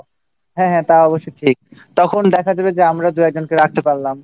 হ্যাঁ তা অবশ্য ঠিক তখন দেখা যাবে যে আমরা দু'একজনকে রাখতে পারলাম